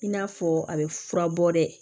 I n'a fɔ a bɛ furabɔ dɛ